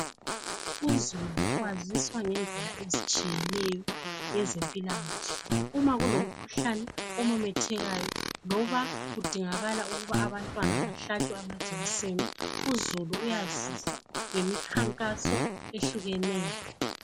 Uzulu waziswa ngendlela ezitshiyeneyo ngezempilakahle. Uma kulomkhuhlane omemethekayo. Loba kudingakala ukuthi abantwana, bahlatshwe amajekiseni. Uzulu uyaziswa ngemikhankaso ehlukeneyo.